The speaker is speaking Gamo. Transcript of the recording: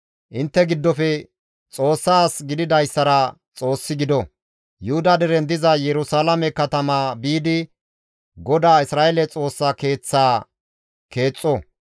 Intte giddofe Xoossa as gididayssara Xoossi gido; Yuhuda deren diza Yerusalaame katama biidi GODAA Isra7eele Xoossa Keeththaa keexxo.